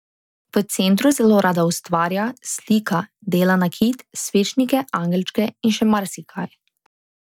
V centru zelo rada ustvarja, slika, dela nakit, svečnike, angelčke in še marsikaj.